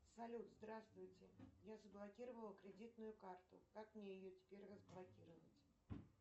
салют здравствуйте я заблокировала кредитную карту как мне ее теперь разблокировать